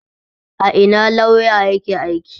A ina lauya yake aiki?